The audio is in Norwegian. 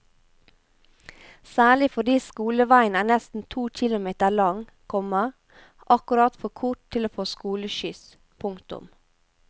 Særlig fordi skoleveien er nesten to kilometer lang, komma akkurat for kort til å få skoleskyss. punktum